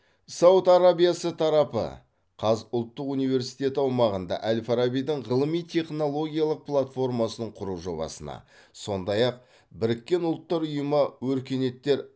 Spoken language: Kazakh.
сауд арабиясы тарапы қаз ұлттық университеті аумағында әл фарабидің ғылыми технологиялық платформасын құру жобасына сондай ақ біріккен ұлттар ұйымы өркениеттер